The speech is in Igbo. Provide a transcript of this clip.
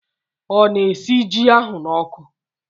O na-esi ji ahụ na oku?